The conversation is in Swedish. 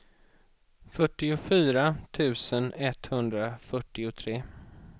fyrtiofyra tusen etthundrafyrtiotre